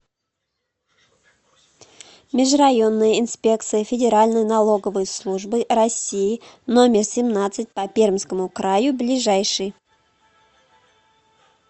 межрайонная инспекция федеральной налоговой службы россии номер семнадцать по пермскому краю ближайший